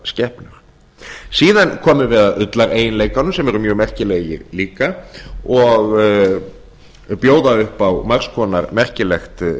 skepnur síðan komum við að ullareiginleikanum sem eru mjög merkilegir líka og bjóða upp á margs konar merkilegt